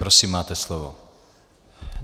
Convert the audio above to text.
Prosím, máte slovo.